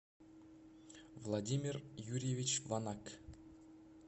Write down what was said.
владимир юрьевич ванак